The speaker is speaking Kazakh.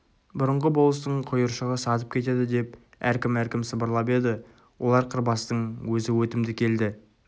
бұрынғы болыстың құйыршығы сатып кетеді деп әркім-әркім сыбырлап еді олардан қырбастың өзі өтімді келді